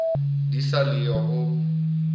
di sa le yo ho